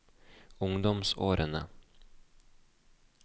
ungdomsårene